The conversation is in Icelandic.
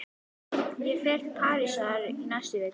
Ég fer til Parísar í næstu viku.